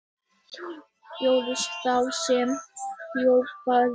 LÁRUS: Þá sem hrópaði!